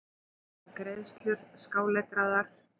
Áætlaðar greiðslur skáletraðar.